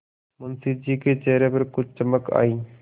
मुंशी जी के चेहरे पर कुछ चमक आई